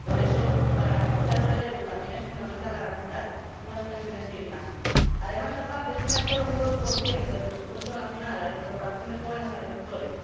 Por eso, para garantizar el relevo también es fundamental garantizar unas pensiones dignas. Además, la PAC destina solo un 2 del presupuesto nacional a la incorporación de jóvenes agricultores.